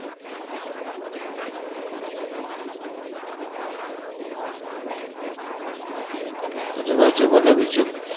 આજુ બાજુ બોલો બીજું